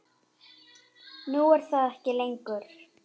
Nú er það ekki lengur.